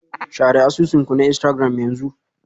Share asusun ku na Instagram yanzu.